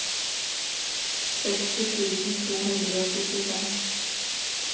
seksti tusen to hundre og syttifem